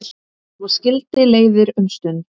Svo skildi leiðir um stund.